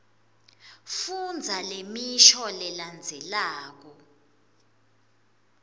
fundza lemisho lelandzelako